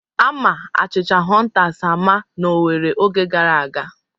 Ama achịcha hụntas ama n'Owere oge gara aga.